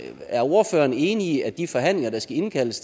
er ordføreren enig i at de forhandlinger der skal indkaldes